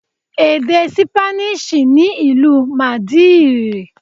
Èdè Sípáníìṣì ni ìlú Màdídìrì.